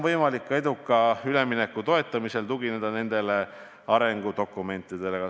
Eduka ülemineku toetamisel on võimalik tugineda ka nendele arengudokumentidele.